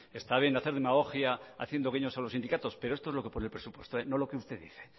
está bien hacer demagogia haciendo guiños a los sindicatos pero esto es lo que pone en el presupuesto no lo que usted dice